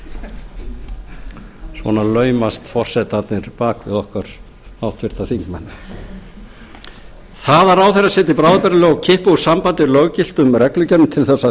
forseta svona laumast forsetarnir bak við okkur háttvirta þingmenn það að ráðherrar setji bráðabirgðalög og kippi úr sambandi löggiltum reglugerðum til að